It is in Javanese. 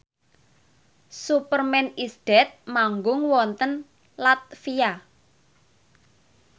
Superman is Dead manggung wonten latvia